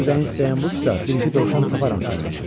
Əgər ürəyin istəyən budursa, bir-iki dovşan taparam sənin üçün.